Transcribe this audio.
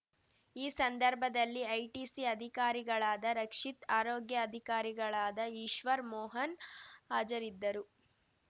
ಈ ಸಂದರ್ಭದಲ್ಲಿ ಐಟಿಸಿ ಅಧಿಕಾರಿಗಳಾದ ರಕ್ಷಿತ್‌ ಆರೋಗ್ಯ ಅಧಿಕಾರಿಗಳಾದ ಈಶ್ವರ್‌ ಮೋಹನ್‌ ಹಾಜರಿದ್ದರು